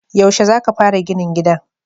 Yaushe za ka fara ginin gidan?